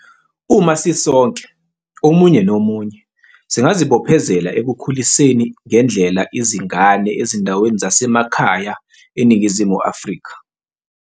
.uma sisonke, omunye nomunye, singazibophezela ekukhuliseni ngendlela izingane ezindaweni zasemakhaya eNingizimu Afrika.